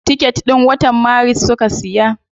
Ticket din watan maris suka siya.